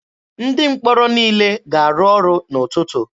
Ndị mkpọrọ niile ga-arụ ọrụ n'ụtụtụ.